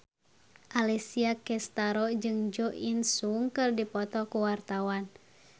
Alessia Cestaro jeung Jo In Sung keur dipoto ku wartawan